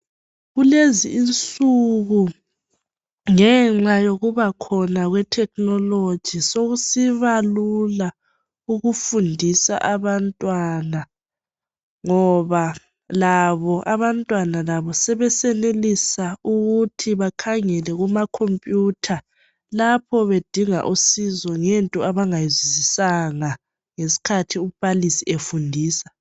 Kulezi insuku ngenxa yokuba khona kwe technology sokusiba lula ukufundisa abantwana ngoba labo abantwana sebesenelisa ukuthi bakhangele kuma computer. Lapho bedinga usizo ngento abangayizwisisanga ngesikhathi umbalisi efundisa .